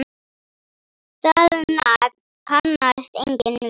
Það nafn kannast enginn við.